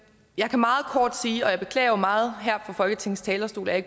jeg kan meget kort sige og jeg beklager meget her fra folketingets talerstol at